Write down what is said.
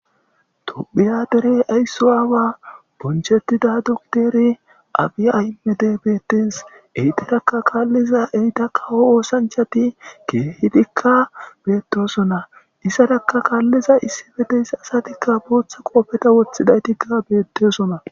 tophiya derey aysso aawa bonchetida dokteri abiya aymede beettes eyterakka kaalliza eyta kawo oosanchati keehidikka bettosona issarakka kaalliza issibe deyssa asatikka booththa qoofeta woththidaytikka beettesona